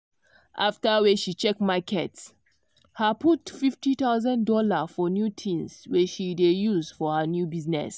after wey she check market her put fifty thousand dollars for new things wey she dey use for her new business.